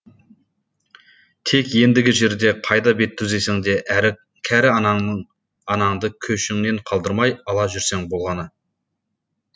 тек ендігі жерде қайда бет түзесең де кәрі анаңды көшіңнен қалдырмай ала жүрсең болғаны